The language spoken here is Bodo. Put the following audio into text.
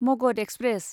मगध एक्सप्रेस